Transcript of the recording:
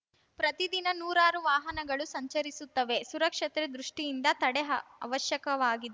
ಪ್ರತಿದಿನ ನೂರಾರು ವಾಹನಗಳು ಸಂಚರಿಸುತ್ತವೆ ಸುರಕ್ಷತೆ ದೃಷ್ಟಿಯಿಂದ ತಡೆ ಅ ಅವಶ್ಯಕವಾಗಿ